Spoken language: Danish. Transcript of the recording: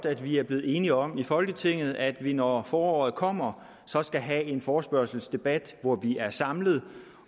at vi er blevet enige om i folketinget at vi når foråret kommer så skal have en forespørgselsdebat hvor vi er samlet